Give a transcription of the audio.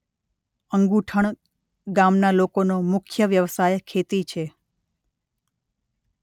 અંગુઠણ ગામના લોકોનો મુખ્ય વ્યવસાય ખેતી છે.